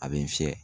A bɛ n fiyɛ